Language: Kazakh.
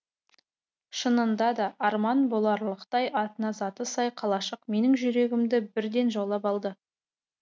шынында да арман боларлықтай атына заты сай қалашық менің жүрегімді бірден жаулап алды